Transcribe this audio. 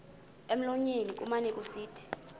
emlonyeni kumane kusithi